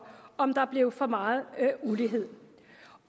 om der blev for meget ulighed